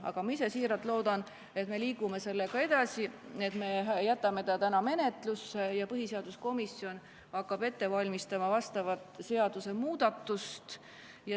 Aga ma ise siiralt loodan, et me liigume sellega edasi, et me jätame selle ettepaneku täna menetlusse ja põhiseaduskomisjon hakkab ette valmistama seadusemuudatust.